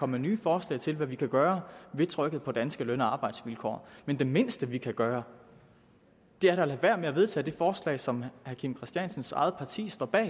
med nye forslag til hvad vi kan gøre ved trykket på danske løn og arbejdsvilkår men det mindste vi kan gøre er da at lade være med at vedtage det forslag som herre kim christiansens eget parti står bag